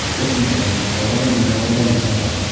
Qo‘shimcha qiymat solig‘i juda foydali soliq.